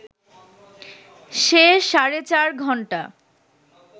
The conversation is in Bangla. সে সাড়ে চার ঘণ্টা